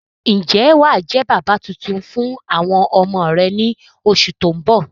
Ń jẹ́ wàá jẹ́ bàbà tuntun fún àwọn ọmọ rẹ ni oṣù tóun bọ̀